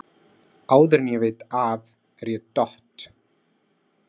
Áður en ég veit af er ég dott